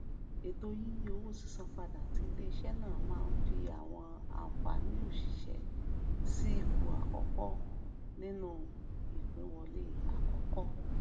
ètò yíyí owó sísan padà ti iléiṣẹ náà máa ń fi àwọn àǹfààní òṣìṣẹ sí ipò àkọkọ nínú ìpínwọlé àkọkọ